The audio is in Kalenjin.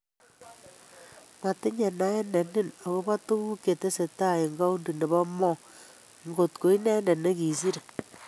Motinye naet ne nin agobo tugul che tesetai en kaunti nebo Mo, ngot ko inendet ne kisire.